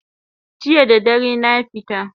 Jiya da dare na fita